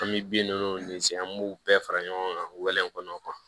An bɛ bin ninnu ci an b'u bɛɛ fara ɲɔgɔn kan wɛlɛnw kɔnɔ